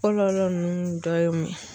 Kɔlɔlɔ ninnu dɔ ye mun ye?